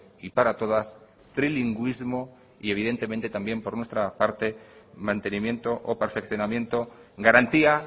y para todas trilingüismo y evidentemente también por nuestra parte mantenimiento o perfeccionamiento garantía